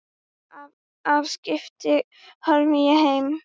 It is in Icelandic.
Af skipinu horfi ég heim.